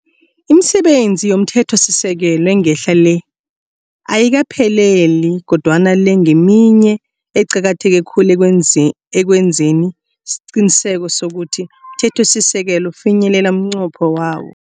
Imisebenzi yomthethosisekelo engehla le, ayikaphelele kodwana le ngeminye eqakatheke khulu ekwenzeni isiqiniseko sokuthi umthethosisekelo ufinyelela umnqopho wawo.